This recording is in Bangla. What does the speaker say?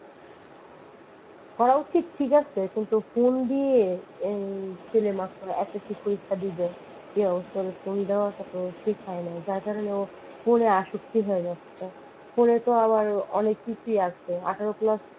করা উচিত ঠিক আছে phone দিয়ে ছেলে মানুষকে এতোটুকু phone দেব ওটা তো ঠিক হয় নাই তার জন্য ওর phone আসক্তি হয়ে যাচ্ছে phone তো আবার অনেক কিছুই আছে আঠারো প্লাস